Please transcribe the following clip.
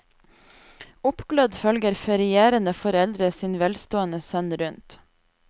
Oppglødd følger ferierende foreldre sin velstående sønn rundt.